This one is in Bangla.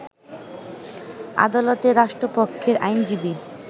আদালতে রাষ্ট্রপক্ষের আইনজীবী